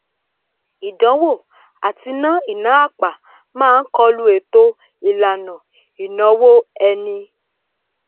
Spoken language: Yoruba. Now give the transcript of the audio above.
ìdánwò àti ná ìná àpà máá kọlu ètò ìlànà ìnáwó ẹni